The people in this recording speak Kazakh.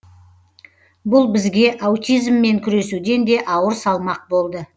бұл бізге аутизммен күресуден де ауыр салмақ болды